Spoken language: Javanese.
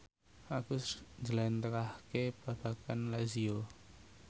Agus njlentrehake babagan Lazio